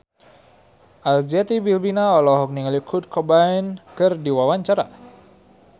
Arzetti Bilbina olohok ningali Kurt Cobain keur diwawancara